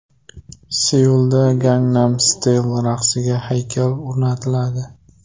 Seulda Gangnam Style raqsiga haykal o‘rnatiladi .